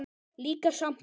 Líka sjampó.